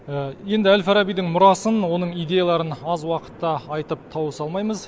енді әл фарабидің мұрасын оның идеяларын аз уақытта айтып тауыса алмаймыз